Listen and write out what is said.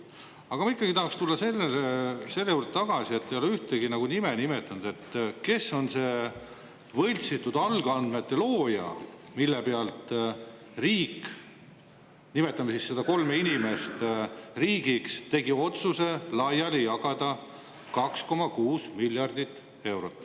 Aga ma ikkagi tahaks tulla selle juurde tagasi, et te ei ole nimetanud ühtegi nime, kes on nende võltsitud alusandmete looja, millest lähtudes riik – nimetame siis seda kolme inimest riigiks – tegi otsuse laiali jagada 2,6 miljardit eurot.